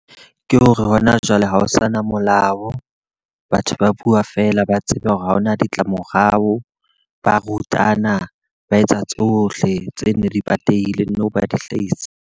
Ke hore hona jwale ha ho sana molao. Batho ba bua feela, ba tsebe hore ha hona ditlamorao. Ba rutana, ba etsa tsohle tse neng di patehileng nou ba di hlahisa.